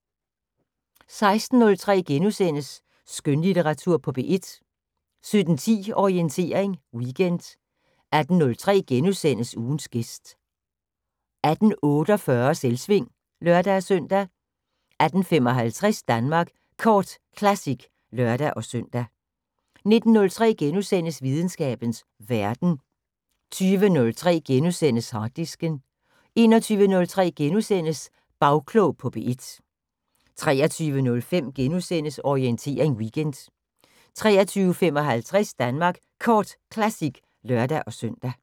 16:03: Skønlitteratur på P1 * 17:10: Orientering Weekend 18:03: Ugens gæst * 18:48: Selvsving (lør-søn) 18:55: Danmark Kort Classic (lør-søn) 19:03: Videnskabens Verden * 20:03: Harddisken * 21:03: Bagklog på P1 * 23:05: Orientering Weekend * 23:55: Danmark Kort Classic (lør-søn)